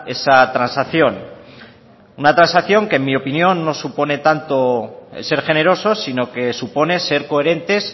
esa transacción una transacción que en mi opinión no supone tanto en ser generosos sino que supone ser coherentes